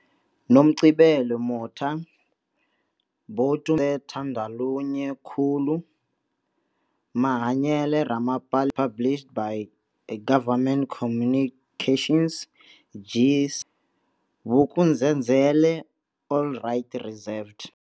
Nomgcibelo Motha, Boitumelo Thandolunye Khulu, Mahanyele Ramapalais published by Government Communications, G, Vuk'uzenzele All rights reserved.